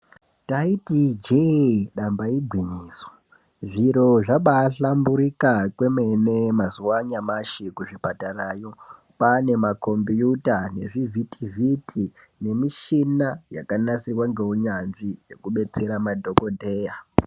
Taiti injee damba igwinyiso zviro zvaba ahlamburika kwemene mazuuwa anyamashi kuzvipatarayo kwaane maKombuta nezvivhitivhiti nemishina yakasirwa neunyanzvi yekudetsera madhokodheya.